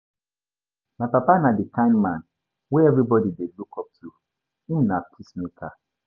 My papa na di kind man wey everybodi dey look up to, him na peacemaker.